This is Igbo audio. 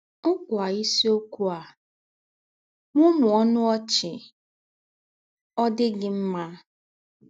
ụ̀kwa ìsìókwú á: “Mụ́mụ́ọ́ ọnù ọ̀chị́ — Ọ̀ Dì̄ Gí̄ Mmà!”